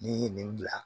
N'i ye nin bila